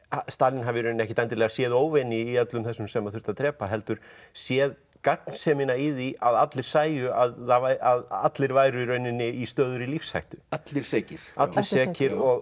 Stalín hafi í rauninni ekkert endilega séð óvini í öllum þessum sem þurfti að drepa heldur séð gagnsemina í því að allir sæju að allir væru í rauninni í stöðugri lífshættu allir sekir allir sekir og